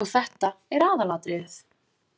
Og þetta er aðalatriðið.